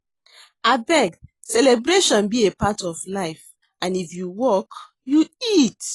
Abeg celebration be a part of life and if you work, you eat.